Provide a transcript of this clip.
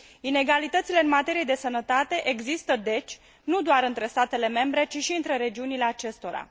Inegalitățile în materie de sănătate există, deci, nu doar între statele membre, ci și între regiunile acestora.